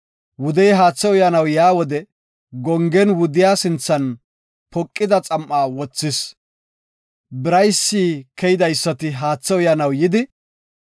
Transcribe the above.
Wudey haathe uyanaw yaa wode gongen wudiya sinthan poqida xam7a wothis. Biraysi keydaysati haathe uyanaw yidi,